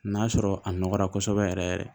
N'a sɔrɔ a nɔgɔra kosɛbɛ yɛrɛ yɛrɛ